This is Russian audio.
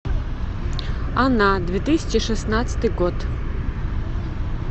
она две тысячи шестнадцатый год